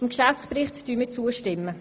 Wir stimmen dem Geschäftsbericht zu.